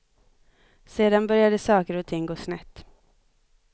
Sedan började saker och ting gå snett.